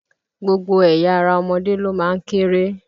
Gbogbo ẹ̀ya ara ọmọdé ló má ń kéré.